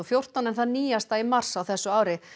fjórtán en það nýjasta í mars á þessu ári